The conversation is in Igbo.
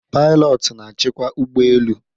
pilotu na-achịkwa ụgbọ elu